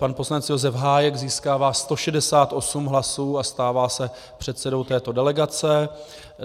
Pan poslanec Josef Hájek získává 168 hlasů a stává se předsedou této delegace.